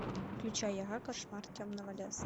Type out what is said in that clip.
включай яга кошмар темного леса